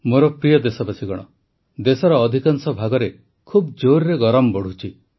ମୋର ପ୍ରିୟ ଦେଶବାସୀଗଣ ଦେଶର ଅଧିକାଂଶ ଭାଗରେ ଖୁବ୍ ଜୋରରେ ଗରମ ବଢ଼ୁଛି